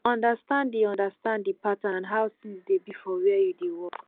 understand di understand di pattern and how things dey be for where you dey work